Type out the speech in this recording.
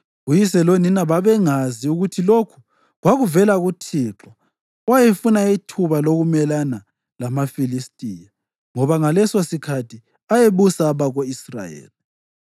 (Uyise lonina babengazi ukuthi lokhu kwakuvela kuThixo, owayefuna ithuba lokumelana lamaFilistiya; ngoba ngalesosikhathi ayebusa abako-Israyeli.)